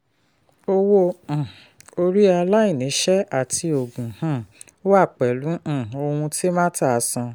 owó um orí aláìníṣẹ́ àti oògùn um wá pẹ̀lú um ohun tí marta san.